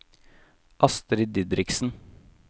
Astri Didriksen